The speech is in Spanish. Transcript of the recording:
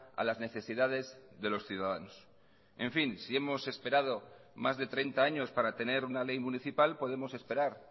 a las necesidades de los ciudadanos en fin si hemos esperado más de treinta años para tener una ley municipal podemos esperar